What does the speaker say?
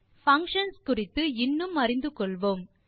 functions குறித்து இன்னும் அறிந்து கொள்வோம்